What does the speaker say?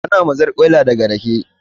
Ana mazarƙwaila daga rake ne